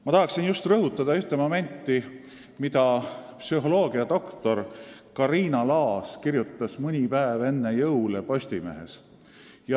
Ma tahan rõhutada ühte momenti, millest psühholoogiadoktor Kariina Laas kirjutas mõni päev enne jõule Postimehes.